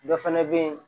Dɔ fɛnɛ be yen